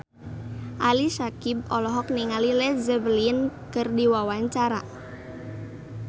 Ali Syakieb olohok ningali Led Zeppelin keur diwawancara